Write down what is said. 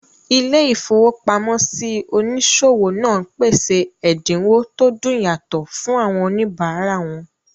Ilé-ìfowópamọ́sí onísòwò náà pèsè ẹ̀dínwó tó dùn yàtọ̀ fún àwọn òníbárà wọn